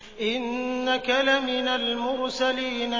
إِنَّكَ لَمِنَ الْمُرْسَلِينَ